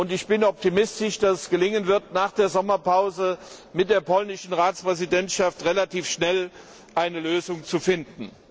Ich bin optimistisch, dass es gelingen wird, nach der Sommerpause mit der polnischen Ratspräsidentschaft relativ schnell eine Lösung zu finden.